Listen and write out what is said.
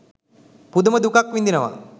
පුදුම දුකක් විඳිනවා.